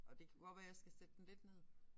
Og det kunne godt være jeg skal sætte den lidt ned